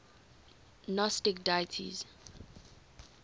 gnostic deities